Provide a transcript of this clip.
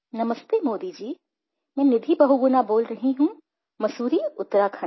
नमस्ते मोदी जी मैं निधि बहुगुणा बोल रही हूँ मसूरी उत्तराखण्ड से